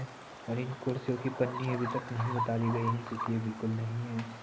और इन कुर्सियों कि पन्नी अभी तक नहीं उतारी गयी है क्यूंकि ये बिलकुल नहीं है।